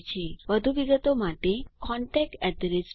વધુ વિગતો માટે contactspoken tutorialorg પર સંપર્ક કરો